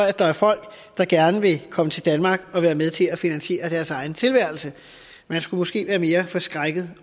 at der er folk der gerne vil komme til danmark og være med til at finansiere deres egen tilværelse man skulle måske være mere forskrækket